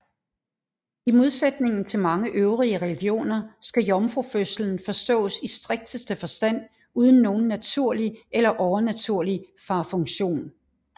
I modsætningen til mange øvrige religioner skal jomfrufødslen forstås i strikteste forstand uden nogen naturlig eller overnaturlig farfunktion